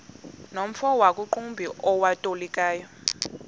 nomfo wakuqumbu owayetolika